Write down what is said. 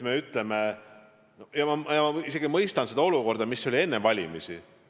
Ma isegi mõistan seda olukorda, mis oli enne valimisi.